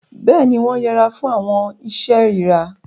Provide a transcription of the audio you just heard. Béèni, wọn yẹra fún awọn iṣe irira